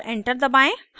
और enter दबाएं